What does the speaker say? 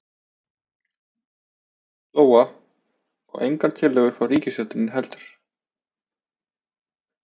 Lóa: Og engar tillögur frá ríkisstjórninni heldur?